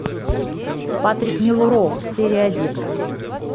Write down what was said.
патрик мелроуз серия один